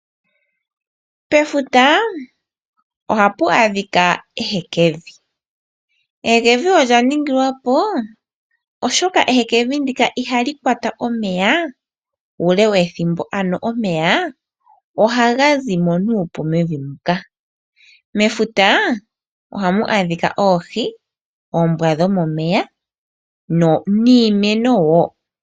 Pefuta oha pu adhika ehekevi. Ehekevi olya ningilwa po oshoka ehekevi ndika iha li kwata omeya uule wethimbo ano omeya ohaga zi mo nuupu mevi muka. Mefuta oha mu adhika oohi, oombwa dhomomeya niimeno wo.